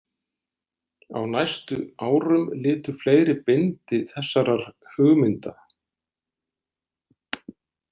Á næstu árum litu fleiri bindi þessarar hugmynda-.